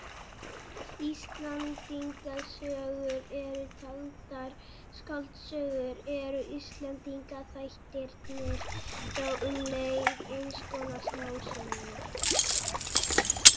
Ef Íslendingasögur eru taldar skáldsögur eru Íslendingaþættirnir þá um leið eins konar smásögur.